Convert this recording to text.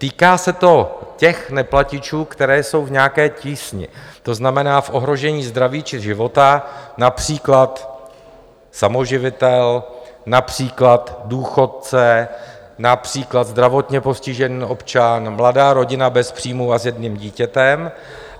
Týká se to těch neplatičů, kteří jsou v nějaké tísni, to znamená v ohrožení zdraví či života, například samoživitel, například důchodce, například zdravotně postižený občan, mladá rodina bez příjmů a s jedním dítětem.